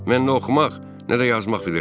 Mən nə oxumaq, nə də yazmaq bilirəm.